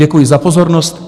Děkuji za pozornost.